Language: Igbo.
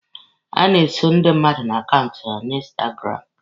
A na-eso ndị mmadụ na akaụntụ ha na instagramụ.